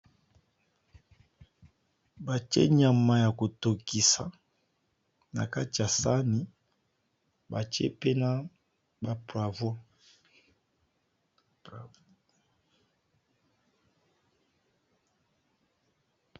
Ba tia nyama ya kotokisa na kati ya sani ba tia pe na provo.